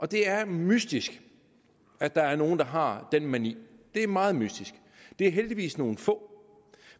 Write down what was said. det er mystisk at der er nogle der har den mani det er meget mystisk det er heldigvis nogle få